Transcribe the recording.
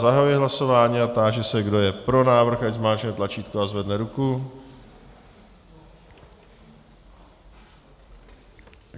Zahajuji hlasování a táži se, kdo je pro návrh, ať zmáčkne tlačítko a zvedne ruku.